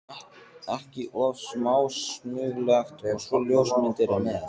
ekki of smásmugulegt- og svo ljósmyndir með.